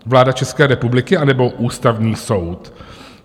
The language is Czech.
Vláda České republiky, anebo Ústavní soud?